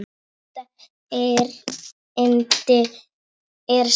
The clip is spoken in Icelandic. Fyrsta erindi er svona